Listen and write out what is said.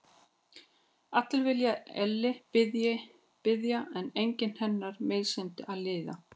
Allir vilja elli bíða en enginn hennar meinsemd að líða.